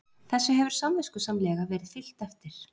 Þessu hefur samviskusamlega verið fylgt eftir